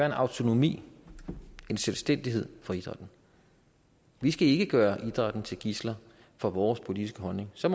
en autonomi og selvstændighed for idrætten vi skal ikke gøre idrætten til gidsler for vores politiske holdning så